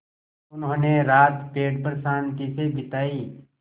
उन्होंने रात पेड़ पर शान्ति से बिताई